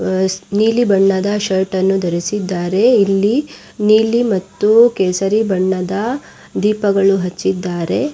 ಆಹ್ಹ್ ನೀಲಿ ಬಣ್ಣದ ಶರ್ಟ್ ಅನ್ನು ಧರಿಸಿದ್ದರೆ ಇಲ್ಲಿ ನೀಲಿ ಮತ್ತು ಕೇಸರಿ ಬಣ್ಣದ ದೀಪಗಳು ಹಚ್ಚಿದ್ದಾರೆ.